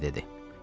Brike dedi.